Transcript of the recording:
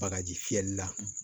Bagaji fiyɛli la